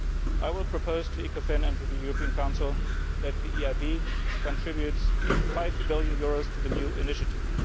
I will propose to ECOFIN and to the European Council that the EIB contributes EUR 5 billion to the new initiative.